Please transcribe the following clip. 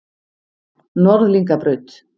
Norðlingabraut